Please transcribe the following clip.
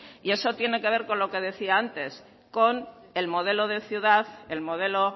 y esto tiene que ver con lo que decía antes con el modelo de ciudad el modelo